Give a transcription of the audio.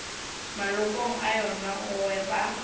malokong a yona go ba